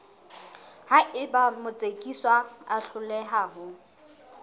haeba motsekiswa a hloleha ho